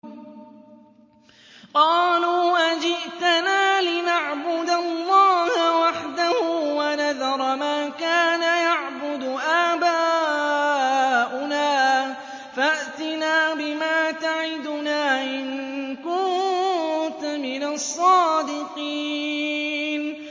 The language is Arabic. قَالُوا أَجِئْتَنَا لِنَعْبُدَ اللَّهَ وَحْدَهُ وَنَذَرَ مَا كَانَ يَعْبُدُ آبَاؤُنَا ۖ فَأْتِنَا بِمَا تَعِدُنَا إِن كُنتَ مِنَ الصَّادِقِينَ